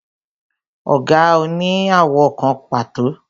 Ọ̀gà ò ní àwọ̀ kan pàtó